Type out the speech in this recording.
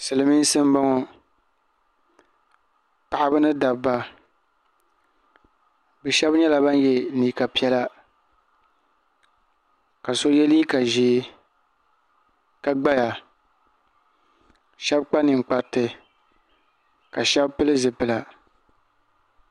Silimiinsi m-bɔŋɔ paɣiba ni dabba bɛ shɛba nyɛla ban ye liiga piɛla ka so ye liiga ʒee ka gbaya shɛba kpa ninkpariti ka shɛba pili zipila.